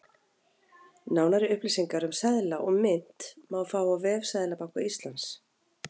Nánari upplýsingar um seðla og mynt má fá á vef Seðlabanka Íslands.